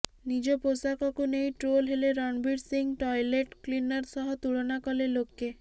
ନିଜ ପୋଷାକକୁ ନେଇ ଟ୍ରୋଲ ହେଲେ ରଣବୀର ସିଂହ ଟଏଲେଟ୍ କ୍ଲିନର ସହ ତୁଳନା କଲେ ଲୋକେ